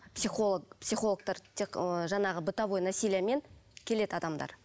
психолог психологтар тек ы жаңағы бытовое насилиемен келеді адамдар